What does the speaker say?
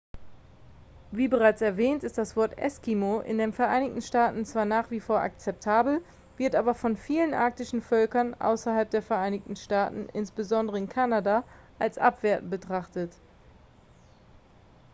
"wie bereits erwähnt ist das wort "eskimo" in den vereinigten staaten zwar nach wie vor akzeptabel wird aber von vielen arktischen völkern außerhalb der vereinigten staaten insbesondere in kanada als abwertend betrachtet.